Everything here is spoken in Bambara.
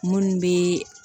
Munnu be